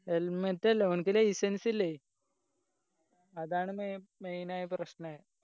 helmate അല്ല അവൻക്ക് licence ഇല്ലേയ് അതാണ് മെ main ആയ പ്രശ്‌നായെ